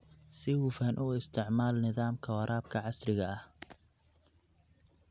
Si hufan u isticmaal nidaamka waraabka casriga ah.